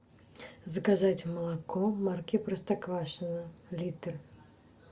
заказать молоко марки простоквашино литр